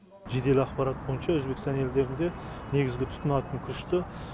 жедел ақпарат бойынша өзбекстан елдерінде негізгі тұтынатын күрішті